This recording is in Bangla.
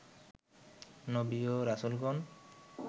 নবী ও রাসূলগণ